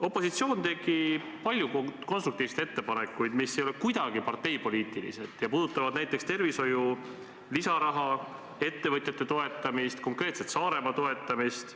Opositsioon tegi palju konstruktiivseid ettepanekuid, mis ei ole kuidagi parteipoliitilised ja puudutavad näiteks tervishoiu lisaraha, ettevõtjate toetamist, konkreetselt Saaremaa toetamist.